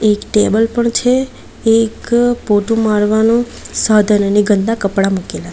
એક ટેબલ પણ છે એક પોતુ મારવાનું સાધન અને ગન્દા કપડા મુકેલા --